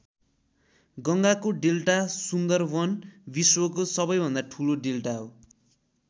गङ्गाको डेल्टा सुन्दरवन विश्वको सबैभन्दा ठूलो डेल्टा हो।